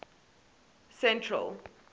central